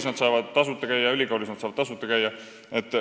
Samas saavad nad koolis ja ülikoolis käia tasuta.